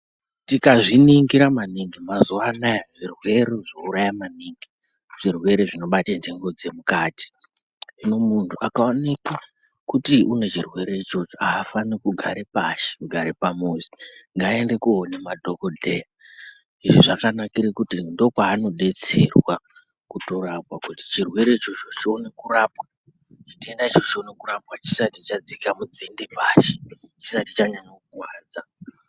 Tikazviningira maningi mazuva anaya zvirwere zvouraya maningi zvirwere zvinobata nhengo dzemukati. Hino muntu akaoneke kuti une chirwere ichocho hafani kugare pashi kugare pamuzi ngaende koone madhogodheya. Izvi zvakanakira kuti ndokwanobetsera kutorapwa kuti chirwere ichocho chione kurapwa. Chitenda ichocho chione kurapwa chisati chadzika mudzinde chisati chanyanya kukuvadza.